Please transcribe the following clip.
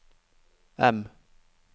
M